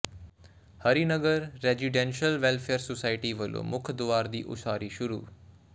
Harinagar residential welfare society ਵੱਲੋਂ ਮੁੱਖ ਦੁਆਰ ਦੀ ਉਸਾਰੀ ਸ਼ੁਰੂ